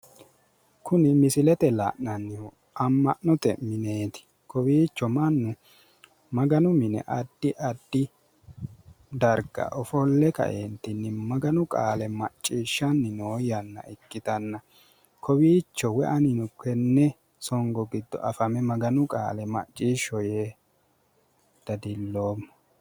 Kuni misilete la'nannihu amma'note mineeti. Kowiicho mannu Maganu mine addi addi darga ofolle kaeentinni Maganu qaale macciishshanni nno yanna ikkitanna, kowiicho woy anino afame Maganu qaale macciishsho yee dadillommo.